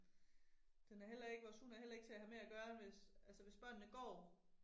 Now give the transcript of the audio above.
Den er heller ikke vores hund er heller ikke til at have med at gøre hvis, altså hvis børnene går